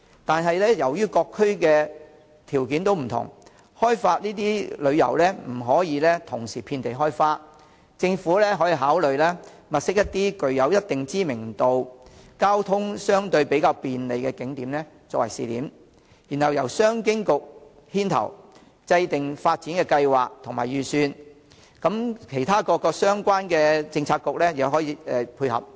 但是，由於各區的條件不同，開發特色旅遊不可以同時遍地開花，政府可考慮先物色一些具一定知名度、交通相對較便利的景點作為試點，然後由商務及經濟發展局牽頭制訂發展計劃及預算，其他各相關政策局予以配合。